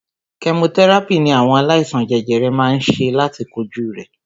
Kẹmotẹ́ràpì ní àwọn aláìsàn jẹjẹrẹ má ń ṣe láti kojú rẹ̀.